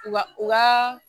Wa u ka